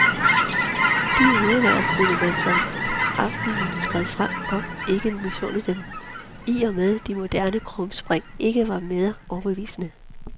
De høreværn kunne man som aftenen skred frem godt misunde dem, i og med de moderne krumspring ikke var mere overbevisende.